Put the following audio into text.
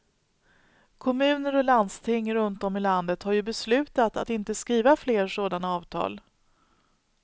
Kommuner och landsting runt om i landet har ju beslutat att inte skriva fler sådana avtal.